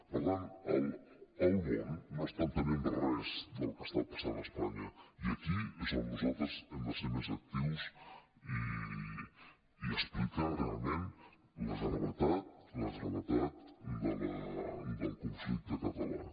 per tant el món no està entenent res del que està passant a espanya i aquí és on nosaltres hem de ser més actius i explicar realment la gravetat del conflicte català